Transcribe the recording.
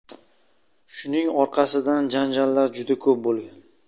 Shuning orqasidan janjallar juda ko‘p bo‘lgan.